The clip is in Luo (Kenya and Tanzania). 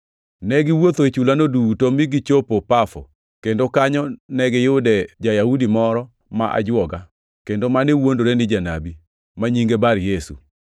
Ne giwuotho e chulano duto mi gichopo Pafo, kendo kanyo ne giyude ja-Yahudi moro ma ajwoga kendo mane wuondore ni janabi, ma nyinge Bar-Yesu.